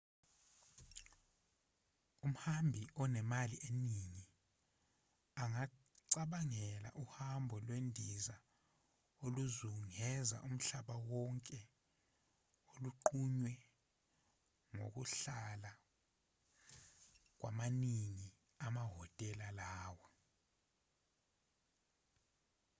umhambi onemali eningi angacabangela uhambo lwendiza oluzungeza umhlaba wonke olunqunywe ngokuhlala kwamaningi wamahotela lawa